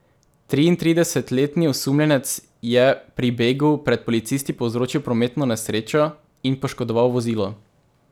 Triintridesetletni osumljenec je pri begu pred policisti povzročil prometno nesrečo in poškodoval vozilo.